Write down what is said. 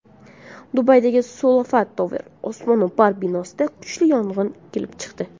Dubaydagi Sulafa Tower osmono‘par binosida kuchli yong‘in kelib chiqdi.